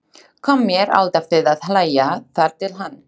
Kom mér alltaf til að hlæja- þar til hann.